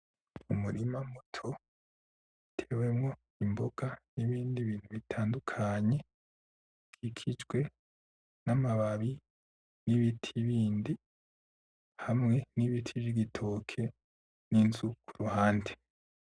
Umurima muto, utewemwo imboga n'ibindi bintu bitandukanye, bigizwe n'amababi, n'ibiti bindi, hamwe n'ibiti vy'ibitoke, n'inzu kuruhande.